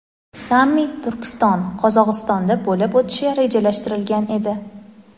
sammit Turkiston (Qozog‘iston)da bo‘lib o‘tishi rejalashtirilgan edi.